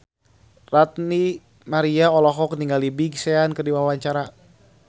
Ranty Maria olohok ningali Big Sean keur diwawancara